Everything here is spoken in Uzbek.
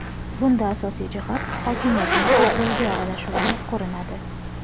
Bunda asosiy jihat hokimiyatning futbolga aralashuvida ko‘rinadi.